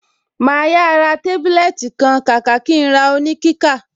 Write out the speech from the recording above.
Màá yà ra tábílẹ́ẹ́tì kan kàkà kí n ra oníkíkà.